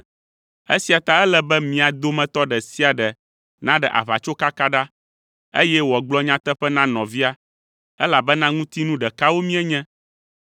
Esia ta ele be mia dometɔ ɖe sia ɖe naɖe aʋatsokaka ɖa, eye wòagblɔ nyateƒe na nɔvia, elabena ŋutinu ɖekawo míenye.